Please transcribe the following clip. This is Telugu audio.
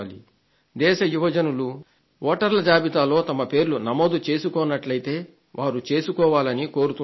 దేశ యువజనులు వోటర్ల జాబితాలో వారి పేర్లు నమోదు చేసుకోనట్లయితే చేసుకోవాలని కోరుతున్నాను